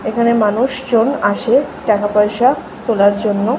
এখানে মানুষজন আসে টাকা পয়সা তোলার জন্য।